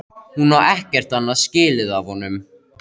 Hún á ekkert annað skilið af honum.